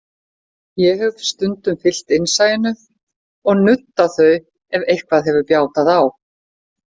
Ég hef stundum fylgt innsæinu og nuddað þau, ef eitthvað hefur bjátað á.